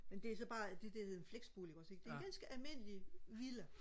men det er så bare det det hedder en flexbolig ikke også ikke en ganske almindelig villa